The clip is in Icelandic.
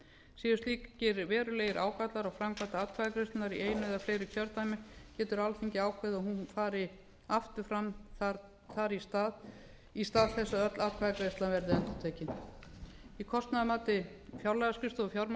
séu slíkir verulegir gallar á framkvæmd atkvæðagreiðslunnar í eina eða fleiri kjördæmi getur alþingi ákveðið að hún fari aftur fram þar í stað í stað þess að öll atkvæðagreiðslan verði endurtekin í kostnaðarmati fjárlagaskrifstofu fjármálaráðuneytisins er